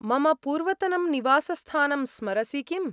मम पूर्वतनं निवासस्थानं स्मरसि किम्?